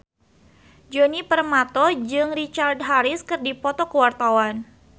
Djoni Permato jeung Richard Harris keur dipoto ku wartawan